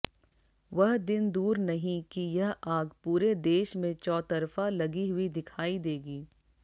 वह दिन दूर नहीं कि यह आग पूरे देश में चौतरफा लगी हुई दिखाई देगी